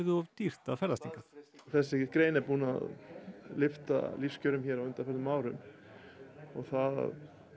of dýrt að ferðast hingað þessi grein er búin að lyfta lífskjörum hér á undanförnum árum og það að